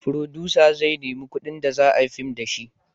Furodusa zai nemi kudin da za a yi fim da shi